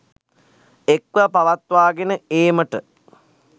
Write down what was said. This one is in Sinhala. එක්ව පවත්වාගෙන ඒමට